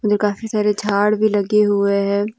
काफी सारे झाड़ भी लगे हुए हैं।